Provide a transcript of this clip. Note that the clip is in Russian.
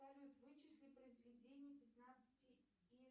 салют вычисли произведение пятнадцати